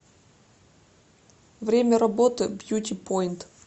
время работы бьюти поинт